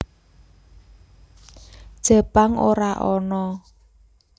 Jepang ora ana